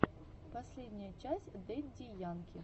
последняя часть дэдди янки